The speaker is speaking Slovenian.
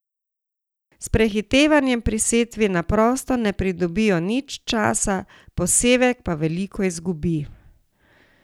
S prehitevanjem pri setvi na prosto ne pridobijo nič časa, posevek pa veliko izgubi!